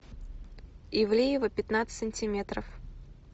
ивлеева пятнадцать сантиметров